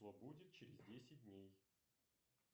что будет через десять дней